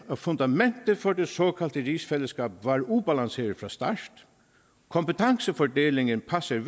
at fundamentet for det såkaldte rigsfællesskab var ubalanceret fra start kompetencefordelingen passer